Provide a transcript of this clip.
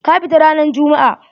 Ka fita ranan jummu'a!